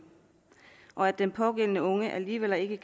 og at den pågældende unge alligevel ikke